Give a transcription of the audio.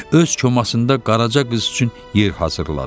Öz komasında Qaraca qız üçün yer hazırladı.